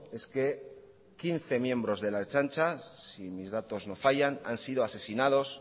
es que quince miembros de la ertzaintza si mis datos no fallan han sido asesinados